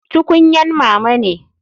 Tukunyan mama ne.